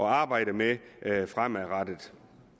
arbejde med fremadrettet